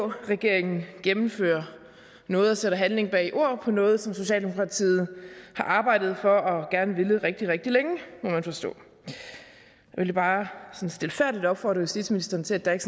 regeringen gennemfører noget og sætter handling bag ord på noget som socialdemokratiet har arbejdet for og har villet rigtig rigtig længe jeg vil bare sådan stilfærdigt opfordre justitsministeren til at der ikke